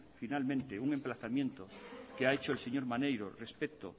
finalmente un emplazamiento que ha hecho el señor maneiro respecto